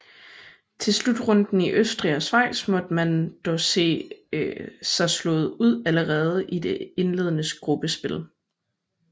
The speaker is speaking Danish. Til slutrunden i Østrig og Schweiz måtte man dog se sig slået ud allerede i det indledende gruppespil